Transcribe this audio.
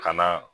Ka na